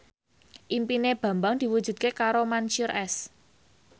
impine Bambang diwujudke karo Mansyur S